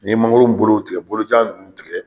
Ni ye mangoro in bolo tigɛ bolojan ninnu tigɛ.